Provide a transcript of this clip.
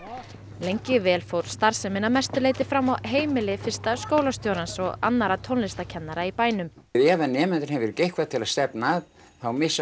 lengi vel fór starfsemin að mestu leyti fram á heimili fyrsta skólastjórans og annarra tónlistarkennara í bænum ef að nemandinn hefur ekki eitthvað til að stefna að þá missir